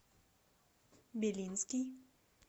белинский